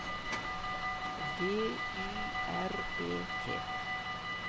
D Y R E T